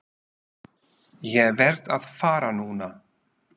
Ég verð að fara núna!